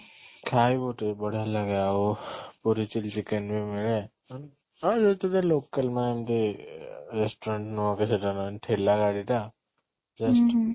ଖାଇବୁ ଟିକେ ବଢିଆ ଲାଗେ ଆଉ ପୁରି chili chicken ବି ମିଳେ ହଁ ଯେହେତୁ ଟିକେ local mind restaurant ନୁହଁ କି ସେଇଟା ଠେଲା ଗାଡି ଟା just